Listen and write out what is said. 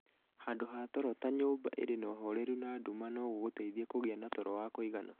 Handũ ha toro ta nyũmba ĩrĩ na ũhoreru na nduma no gũgũteithie kũgĩa na toro wa kũigana.